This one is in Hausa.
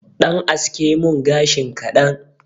Ɗan aske mun gashin kaɗan